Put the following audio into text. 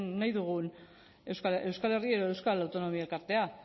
nahi dugun euskal herria edo euskal autonomia elkartea